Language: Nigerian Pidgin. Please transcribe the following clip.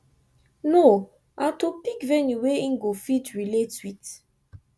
no aw to pick venue wey em go fit relate wit